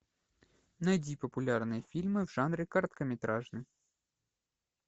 найди популярные фильмы в жанре короткометражный